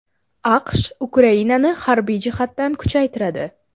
AQSh Ukrainani harbiy jihatdan kuchaytiradi.